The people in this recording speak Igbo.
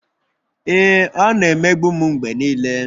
Ee, ọ na-emegbu m mgbe niile